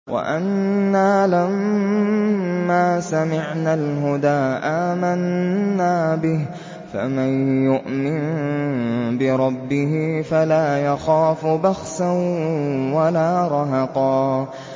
وَأَنَّا لَمَّا سَمِعْنَا الْهُدَىٰ آمَنَّا بِهِ ۖ فَمَن يُؤْمِن بِرَبِّهِ فَلَا يَخَافُ بَخْسًا وَلَا رَهَقًا